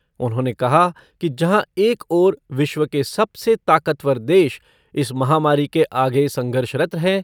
उन्होंने कहा कि जहाँ एक ओर विश्व के सबसे ताकतवर देश इस महामारी के आगे संघर्षरत हैं